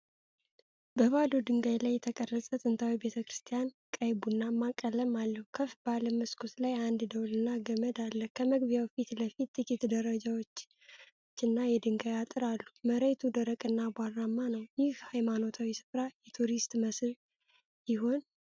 በባዶ ድንጋይ ላይ የተቀረጸ ጥንታዊ ቤተክርስቲያን ቀይ-ቡናማ ቀለም አለው። ከፍ ባለ መስኮት ላይ አንድ ደወልና ገመድ አለ። ከመግቢያው ፊት ለፊት ጥቂት ደረጃዎችና የድንጋይ አጥር አሉ። መሬቱ ደረቅና አቧራማ ነው። ይህ ሃይማኖታዊ ሥፍራ የቱሪስት መስህብ ይሆን?